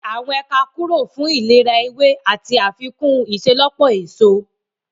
Gígé àwọn ẹ̀ka kúrò fún ìlera ewé àti àfikún ìṣelọ́pọ̀ èso